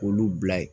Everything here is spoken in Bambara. K'olu bila yen